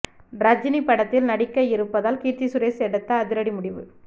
ரஜினி படத்தில் நடிக்க இருப்பதால் கீர்த்தி சுரேஷ் எடுத்த அதிரடி முடிவு